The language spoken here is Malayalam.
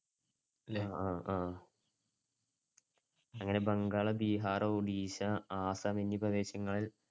ആഹ് അങ്ങനെ ബംഗാൾ, ബീഹാർ, ഒഡിഷ, ആസ്സാം എന്നീ പ്രദേശങ്ങളിൽ